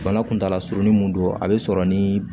Bana kuntala surunnin mun don a bɛ sɔrɔ ni